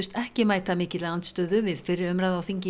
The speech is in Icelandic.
ekki mæta mikilli andstöðu við fyrri umræðu í þingi